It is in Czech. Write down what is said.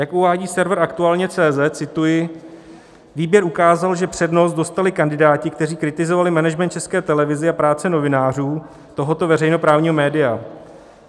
Jak uvádí server aktualne.cz, cituji: "Výběr ukázal, že přednost dostali kandidáti, kteří kritizovali management České televize a práci novinářů tohoto veřejnoprávního média.